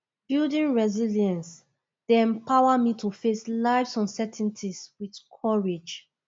building resilience dey empower me to face lifes uncertainties with courage